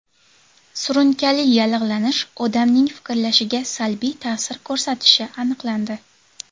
Surunkali yallig‘lanish odamning fikrlashiga salbiy ta’sir ko‘rsatishi aniqlandi.